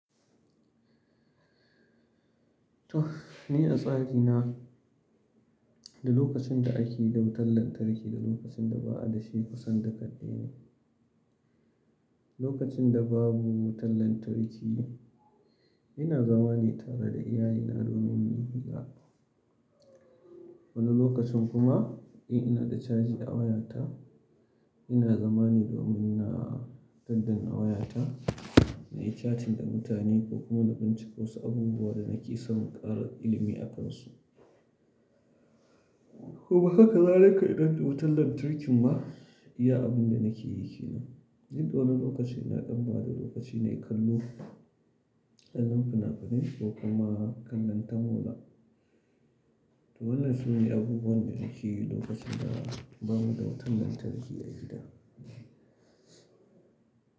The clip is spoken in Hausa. To, ni a tsari na, duk lokacin da ake da wutar lantarki da lokacin da ba'a da shi kusan dukka daya ne. Lokacin da babu wutar lantarki, ina zama ne tare da iyalina domin muyi hira. Wani lokacin kuma in ina da caji a wayata, ina zama ne domin na daddan wayata na yi catting da mutane ko kuma na binciko wasu abubuwa da nake son ƙara ilimi akansu. Kuma haka zalika idan da wutar lantarkin ma, iya abin da nake yi ke nan. Ni domin lokaci na ɗan bada lokaci nayi kallo, kallon fina-finai ko kuma kallon tamola. To wannan sune abubuwan da nakeyi lokacin da bamuda wutar lantarki a gida.